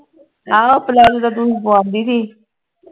ਆਹੋ ਪਲਾਜੋ ਤਾਂ ਪਵਾਂਦੀ ਤੀ